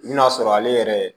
I bi n'a sɔrɔ ale yɛrɛ